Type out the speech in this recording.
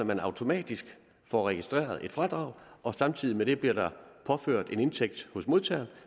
man automatisk får registreret et fradrag og samtidig med det bliver der påført en indtægt hos modtageren